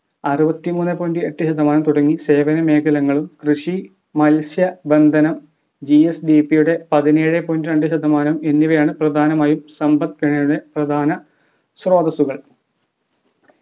അറവത്തിമൂന്നെ point എട്ട് ശതമാനം തുടങ്ങി സേവന മേഖലങ്ങളും കൃഷി മത്സ്യ ബന്ധനം GSDP യുടെ പതിനേഴെ point രണ്ട് ശതമാനം എന്നിവയാണ് പ്രധാനമായും സാമ്പത് മേഖലയെ പ്രധാന സ്രോതസ്സുകൾ